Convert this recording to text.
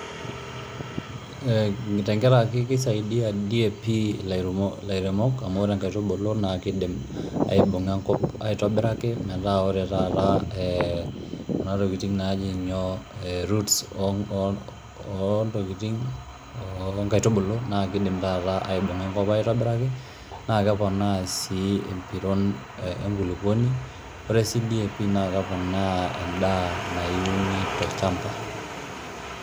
Ee tenkaraki kisaidia DAP ilairemok amu ore nkaitubulu naake idim aibung'a enkop aitobiraki metaa ore taata ee kuna tokitin naaji nyoo ee roots oo ntokitin oo nkaitubulu naake idim taata aibung'a enkop aitobiraki naake keponaa sii empiron enkuluponi, ore si DAP naa keponaa endaa nayuni tolchamba.